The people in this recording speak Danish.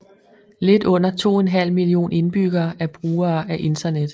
Lidt under 2½ million indbyggere er brugere af internet